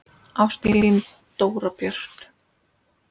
Ást, þín Dóra Björt.